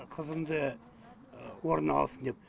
қызымды орнына алсын деп